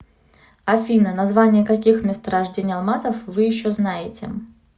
афина названия каких месторождений алмазов вы еще знаете